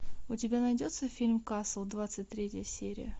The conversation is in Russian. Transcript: у тебя найдется фильм касл двадцать третья серия